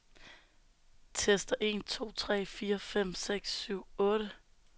Tester en to tre fire fem seks syv otte.